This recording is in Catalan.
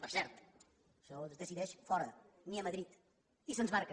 per cert això es decideix fora ni a madrid i se’ns marca